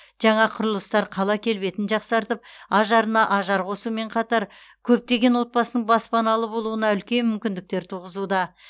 жаңа құрылыстар қала келбетін жақсартып ажарына ажар қосумен қатар көптеген отбасының баспаналы болуына үлкен мүмкіндіктер туғызуда